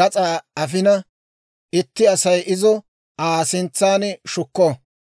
gas'aa afina, itti Asay izo Aa sintsan shukko.